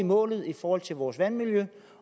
målet i forhold til vores vandmiljø